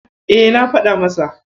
E, na faɗa masa.